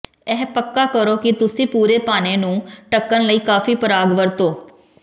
ਇਹ ਪੱਕਾ ਕਰੋ ਕਿ ਤੁਸੀਂ ਪੂਰੇ ਪਾਣੇ ਨੂੰ ਢੱਕਣ ਲਈ ਕਾਫ਼ੀ ਪਰਾਗ ਵਰਤੋ